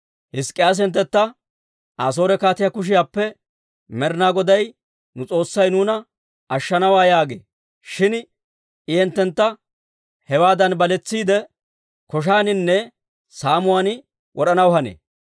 Hizk'k'iyaase hinttentta, «Asoore kaatiyaa kushiyaappe Med'inaa Goday nu S'oossay nuuna ashshanawaa» yaagee; shin I hinttentta hewaadan baletsiidde, koshshaaninne saamuwaan wod'anaw hanee.